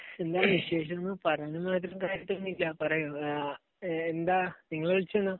എന്താ വിശേഷങ്ങൾ പറയണ മാതിരീത്തെ ഒന്നുമില്ല. എന്താ നിങ്ങൾ വിളിച്ചത് എന്താ?